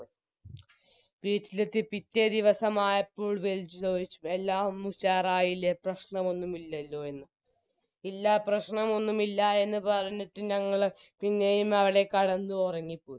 വീട്ടിലെത്തി പിറ്റേ ദിവസമായപ്പോൾ വിളിച്ചു ചോദിച്ചു എല്ലാം ഒന്ന് ഉഷാറായില്ലേ പ്രശ്നമൊന്നും ഇല്ലല്ലോ എന്ന് ഇല്ല പ്രശ്നമൊന്നും ഇല്ല എന്ന് പറഞ്ഞിട്ട് ഞങ്ങള് പിന്നെയും അവിടെ കടന്ന് ഉറങ്ങിപ്പോയി